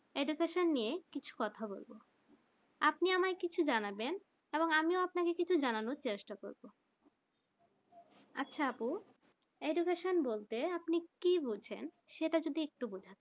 education নিয়ে কিছু কথা বলবো আপনি আমি কিছু জানাবেন এবং আমি আপনাকে কিছু জানবার চেষ্টা করবো আচ্ছা আপু education বলতে আপনি কি বুজেন সেটা যদি একটু বোঝান